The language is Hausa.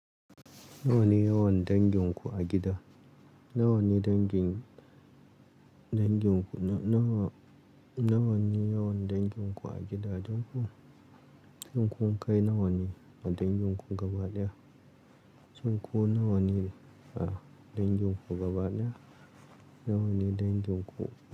Nawa ne yawan dangin ku a gida? Nawa ne dangin, dangin ku, na-nawa, nawa ne yawan dangin ku a gida? Duk ku, duk ku kai nawa ne a dangin ku gaba ɗaya? Duk ku nawa ne a dangin ku gaba ɗaya? Nawa ne dangin ku?